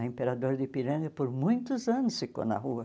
A Imperador de Ipiranga por muitos anos ficou na rua.